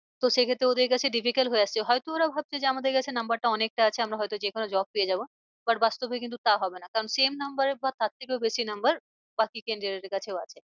তো সে ক্ষেত্রে ওদের কাছে difficult হয়ে যাচ্ছে। হয় তো ওরা ভাবছে যে আমাদের কাছে number টা অনেকটা আছে আমরা হয়তো যে কোনো job পেয়ে যাবো। আবার বাস্তবে কিন্তু তা হবে না কারণ number এ বা তার থেকেও বেশি number বাকি candidate এর কাছেও আছে।